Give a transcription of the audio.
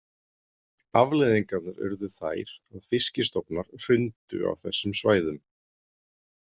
Afleiðingarnar urðu þær að fiskistofnar hrundu á þessum svæðum.